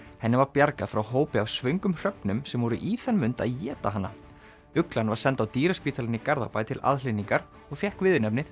henni var bjargað frá hópi af svöngum hröfnum sem voru í þann mund að éta hana uglan var send á dýraspítalann í Garðabæ til aðhlynningar og fékk viðurnefnið